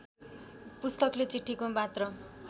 पुस्तकले चिठीको मात्र